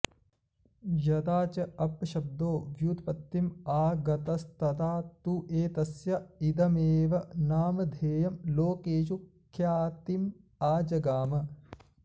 यदा च अप्पशब्दो व्युत्पत्तिम् आगतस्तदा तु एतस्य इदमेव नामधेयं लोकेषु ख्यातिमाजगाम